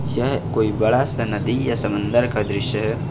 यह कोई बड़ा सा नदी या समंदर का दृश्य है।